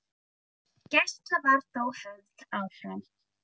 Gæsla var þó höfð áfram.